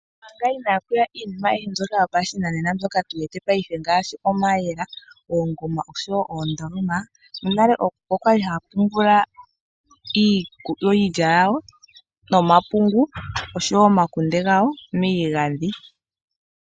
Ompanga ina ku ya iikwatelwa yopashinanena ngaashi mayela, oongoma osho woo oondoloma. Monale aantu okwa li haya pungula iilya nomapungu, osho woo omakunde miigadhi.